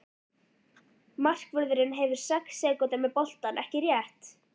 Markvörðurinn hefur sex sekúndur með boltann, ekki rétt?